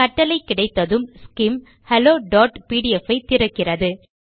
கட்டளை கிடைத்ததும் Skim hello PDF ஐ திறக்கிறது